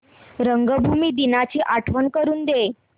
रंगभूमी दिनाची आठवण करून दे